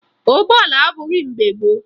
Ụgbọala adịbughi mgbe gboo